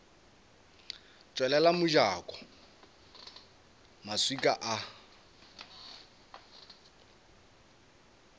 tswalela mojako ka maswika a